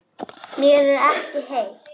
Mér er ekki heitt.